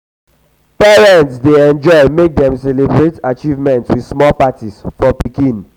parents dey enjoy make dem celebrate achievements with small parties for pikin. for pikin.